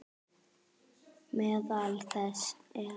Meðal þess er